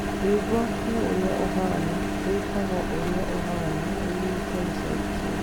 rwĩmbo nĩ ũrĩa ũhaana rwĩtagwo ũrĩa ũhaana rwĩĩnĩtwo na sauti sol